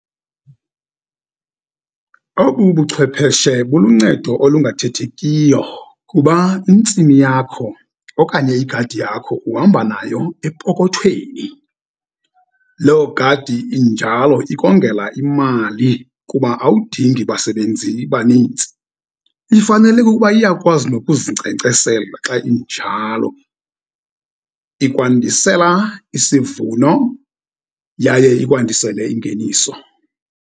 Obu buchwepheshe buluncedo olungathethekiyo, kuba intsimi yakho okanye igadi yakho uhamba nayo epokothweni. Lo gadi injalo ikongela imali, kuba awudingi basebenzi banintsi. Ifanele kukuba iyakwazi nokuzinkcenkcesela xa injalo, ikwandisela isivuno yaye ikwandisele ingeniso.